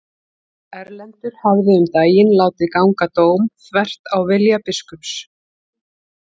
Erlendur hafði um daginn látið ganga dóm þvert á vilja biskups.